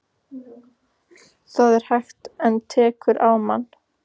Það er hægt. en tekur á mann.